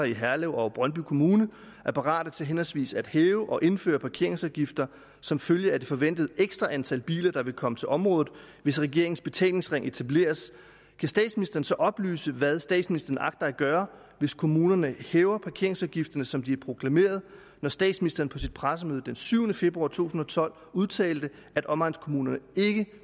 i herlev og brøndby kommune er parate til henholdsvis at hæve og indføre parkeringsafgifter som følge af det forventede ekstra antal biler der vil komme til området hvis regeringens betalingsring etableres kan statsministeren så oplyse hvad statsministeren agter at gøre hvis kommunerne hæver parkeringsafgifterne som de har proklameret når statsministeren på sit pressemøde den syvende februar to tusind og tolv udtalte at omegnskommunerne ikke